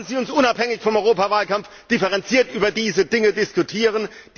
Lassen Sie uns unabhängig vom Europawahlkampf differenziert über diese Dinge diskutieren!